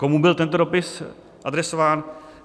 Komu byl tento dopis adresován?